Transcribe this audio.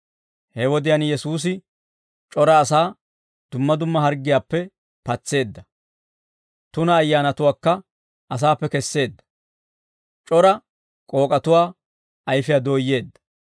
He wodiyaan Yesuusi c'ora asaa dumma dumma harggiyaappe patseedda; tuna ayyaanatuwaakka asaappe kesseedda; c'ora k'ook'atuwaa ayfiyaa dooyyeedda.